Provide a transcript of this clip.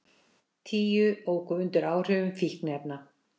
Tíu óku undir áhrifum fíkniefna